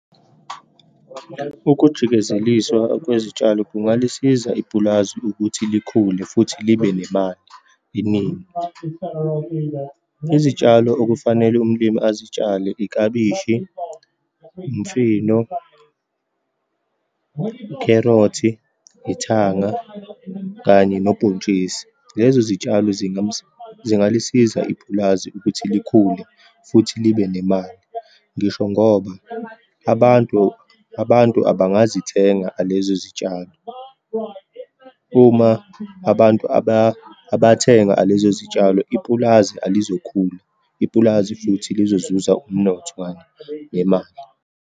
Ukujikezeliswa kwezitshalo kungalisiza ipulazi ukuthi likhule, futhi libe nemali eningi. Izitshalo okufanele umlimi azitshale, ikabishi, imfino, ukherothi, ithanga kanye nobhontshisi. Lezo zitshalo zingalisiza ipulazi ukuthi likhule futhi libe nemali. Ngisho ngoba abantu, abantu abangazithenga lezo zitshalo. Uma abantu abathenga lezo zitshalo, ipulazi alizokhula, ipulazi futhi lizozuza umnotho nemali.